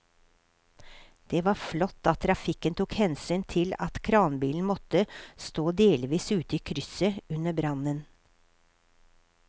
Det var flott at trafikken tok hensyn til at kranbilen måtte stå delvis ute i krysset under brannen.